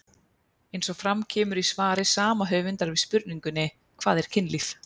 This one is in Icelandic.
Eins og fram kemur í svari sama höfundar við spurningunni Hvað er kynlíf?